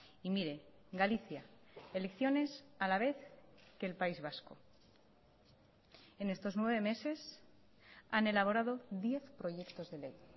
y mire galicia elecciones a la vez que el país vasco en estos nueve meses han elaborado diez proyectos de ley